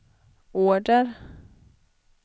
order